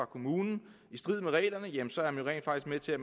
kommune i strid med reglerne jamen så er man rent faktisk med til at